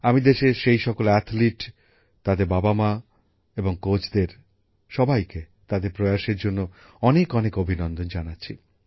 আমি দেশের সেই সব খেলোয়াড় তাদের বাবামা এবং কোচদের সবাইকে তাদের প্রয়াসের জন্য অনেক অনেক অভিনন্দন জানাচ্ছি